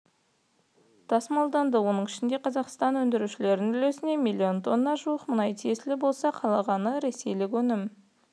тасымалданды оның ішінде қазақстандық өндірушілердің үлесіне миллион тоннаға жуық мұнай тиесілі болса қалғаны ресейлік өнім